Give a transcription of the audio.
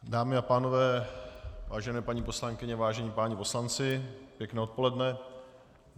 Dámy a pánové, vážené paní poslankyně, vážení páni poslanci, pěkné odpoledne.